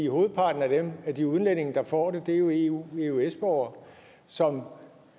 hovedparten af de udlændinge der får det er jo eu og eøs borgere som